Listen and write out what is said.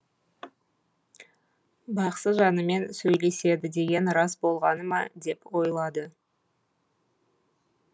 бақсы жанымен сөйлеседі деген рас болғаны ма деп ойлады